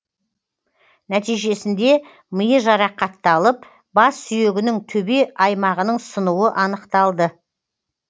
нәтижесінде миы жарақатталып бас сүйегінің төбе аймағының сынуы анықталды